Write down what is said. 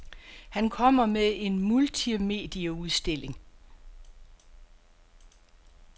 Han kommer med en multimedieudstilling.